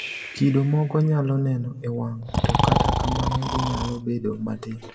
Kido moko nyalo neno e wang` to kata kamano ginyalo bedo matindo.